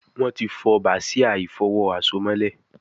Wón tí fó Bàsíà ìfọ̀wo àsomọ́lẹ̀